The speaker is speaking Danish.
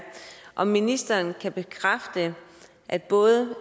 om ministeren kan bekræfte at både